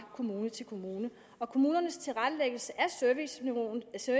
kommune til kommune kommunernes tilrettelæggelse af serviceniveauet skal